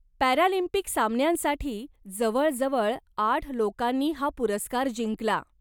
Paralympic सामन्यांसाठी जवळजवळ आठ लोकांनी हा पुरस्कार जिंकला.